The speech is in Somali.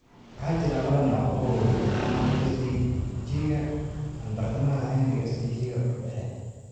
Waxaa jira laba nooc oo waaweyn: CD-ga aan bartamaha lahayn iyo CD-ga dhexe.